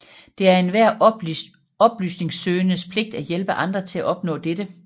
Det er enhver oplysningssøgendes pligt at hjælpe andre til at opnå dette